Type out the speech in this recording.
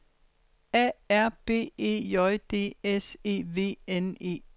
A R B E J D S E V N E